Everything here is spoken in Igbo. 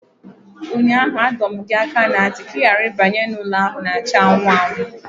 Ụnyaahụ, adọ m gị aka ná ntị ka ị ghara ịbanye na ụlọ ahụ na-acha anụnụ anụnụ